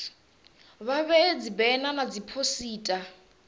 vha vhee dzibena na dziphosita